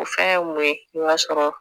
O fɛn ye mun ye i b'a sɔrɔ